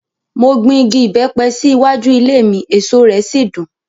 Mo gbin igi ìbẹ́pẹ sí iwájú ilé mi, èso rẹ̀ sì dùn.